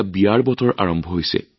বিয়াৰ বতৰো এতিয়া আৰম্ভ হৈছে